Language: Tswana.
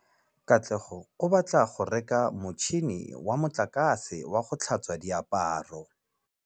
Katlego o batla go reka motšhine wa motlakase wa go tlhatswa diaparo.